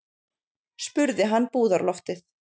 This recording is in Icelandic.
spurði hann búðarloftið.